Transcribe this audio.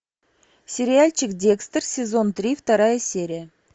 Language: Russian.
сериальчик декстер сезон три вторая серия